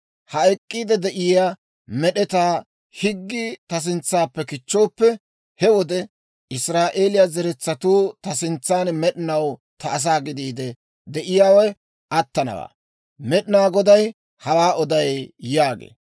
«Ha ek'k'iide de'iyaa med'etaa higgii ta sintsappe kichchooppe, he wode Israa'eeliyaa zeretsatuu ta sintsan med'inaw ta asaa gidiide de'iyaawe attanawaa. Med'inaa Goday hawaa oday» yaagee.